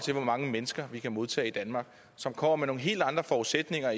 hvor mange mennesker vi kan modtage i danmark som kommer med nogle helt andre forudsætninger